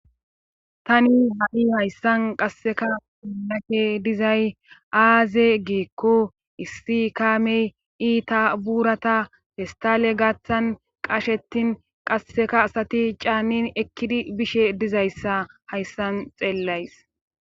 Tani hadi hayssan qasseka unake dizay aaze geekko issi kaamey iita buurata festale gaaththan qashetin qasseka asati caanin ekkidi bishe dizayssa hayssan xeellays.